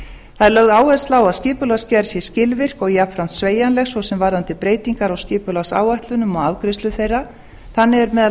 það er lögð áhersla á að skipulagsgerð sé skilvirk og jafnframt sveigjanleg svo sem varðandi breytingar á skipulagsáætlunum og afgreiðslu þeirra þannig er meðal